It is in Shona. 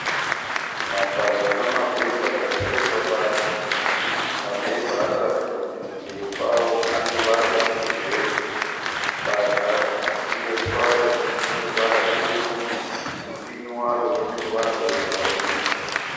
Mapadza namabhemba zvakatsvetwa pasi mabhemba anoratidza kuti kumberi kwawo aneruvara rwesirivheri, badza kumberi kwaro rine ruvara rutema kumupini waro rine ruvara rwebhurauni.